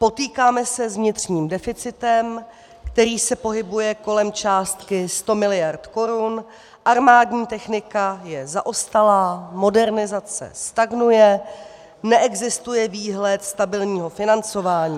Potýkáme se s vnitřním deficitem, který se pohybuje kolem částky 100 miliard korun, armádní technika je zaostalá, modernizace stagnuje, neexistuje výhled stabilního financování.